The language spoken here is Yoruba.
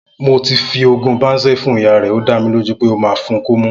Mo ti fi oògùn Banzel fún ìyá re ọ da mí lo ju pẹ ọ ma fún ko mú